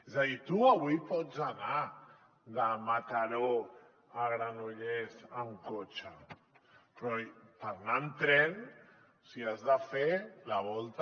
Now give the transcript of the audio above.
és a dir tu avui pots anar de mataró a granollers amb cotxe però per anar hi amb tren has de fer la volta